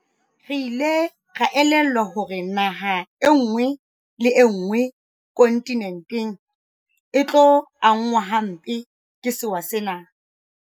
Re ile ra elellwa hore naha enngwe le enngwe kontinenteng e tlo angwa hampe ke sewa sena.